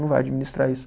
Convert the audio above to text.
Não vai administrar isso.